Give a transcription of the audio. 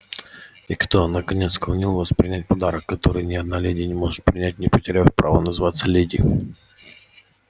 и кто наконец склонил вас принять подарок который ни одна леди не может принять не потеряв права называться леди